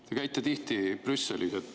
Te käite tihti Brüsselis.